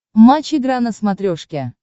матч игра на смотрешке